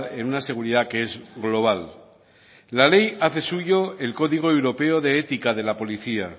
en una seguridad que es global la ley hace suyo el código europeo de ética de la policía